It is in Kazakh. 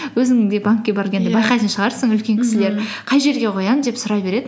өзің де банкке байқайтын шығарсың үлкен кісілер қай жерге қоямын деп сұрай береді